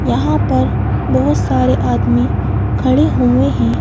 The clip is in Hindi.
यहाँ पर बहुत सारे आदमी खड़े हुए हैं।